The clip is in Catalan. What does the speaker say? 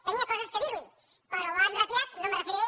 tenia coses a dir li però l’han retirat no m’hi referiré